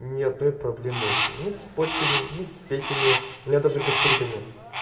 ни одной проблемы вообще ни с почками не с печенью меня тоже гастрита нет